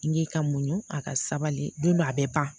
N k'i ka muɲu a ka sabali don a bɛ ban